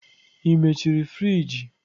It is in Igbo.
Ị mechiri friji?